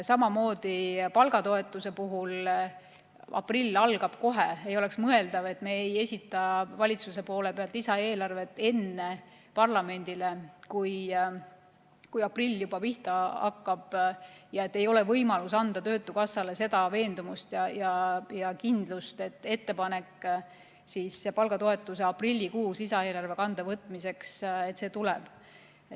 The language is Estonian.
Samamoodi palgatoetuse puhul, aprill algab kohe, ei oleks mõeldav, et me ei esita valitsuse poolt lisaeelarvet parlamendile enne, kui aprill pihta hakkab, ja et ei ole võimalust anda töötukassale veendumust ja kindlust, et ettepanek palgatoetuse aprillikuus lisaeelarve kanda võtmiseks tuleb.